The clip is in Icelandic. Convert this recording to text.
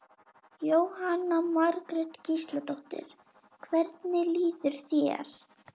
Jóhanna Margrét Gísladóttir: Hvernig líður þér?